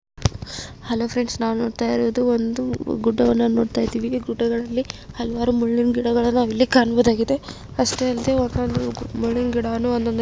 Hello friends ನಾವ್ ನೋಡ್ತಾ ಇರೋದು ಒಂದು ಗುಡ್ಡವನ್ನ ನೋಡ್ತಾ ಇದಿವಿ. ಈ ಗುಡ್ಡಗಳಲ್ಲಿ ಹಲವಾರು ಮುಳ್ಳಿನ್ ಗಿಡಗಳಾದವ್ ಇಲ್ಲಿ ಕಾಣಬಹುದಾಗಿದೆ. ಅಷ್ಟೇ ಅಲ್ಲದೆ ಒಂದೊಂದು ಮುಳ್ಳಿನ್ ಗಿಡಾನೂ ಒಂದೊಂದು ರೀತಿಯಾಗಿ ಇವೆ.